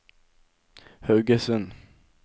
Haugesund